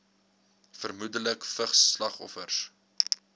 vermoedelik vigs slagoffers